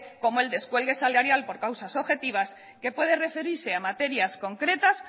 como el descuelgue salarial por causas objetivas que puede referirse a materias concretas